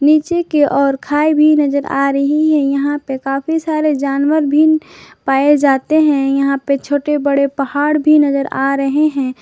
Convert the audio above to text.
नीचे के ओर खाई भी नजर आ रही है यहां पे काफी सारे जानवर भी पाए जाते हैं यहां पे छोटे बड़े पहाड़ भी नजर आ रहे हैं।